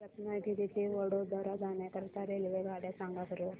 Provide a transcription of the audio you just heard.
रत्नागिरी ते वडोदरा जाण्या करीता रेल्वेगाड्या सांगा बरं